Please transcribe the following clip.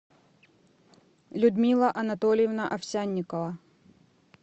людмила анатольевна овсянникова